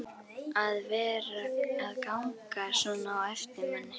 að vera að ganga svona á eftir manni.